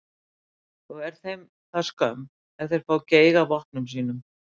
Og er þeim það skömm ef þeir fá geig af vopnum sínum.